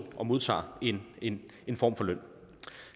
og modtager en en form for løn